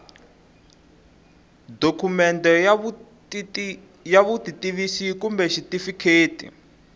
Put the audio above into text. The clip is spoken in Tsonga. dokumende ya vutitivisi kumbe xitifiketi